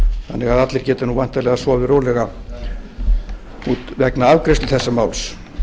þannig að allir geti væntanlega sofið rólega vegna afgreiðslu þessa máls